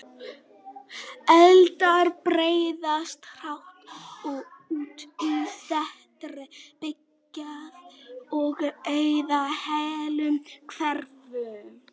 Eldar breiðast hratt út í þéttri byggð og eyða heilum hverfum.